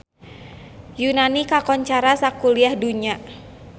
Yunani kakoncara sakuliah dunya